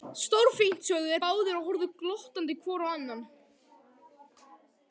Stórfínt sögðu þeir báðir og horfðu glottandi hvor á annan.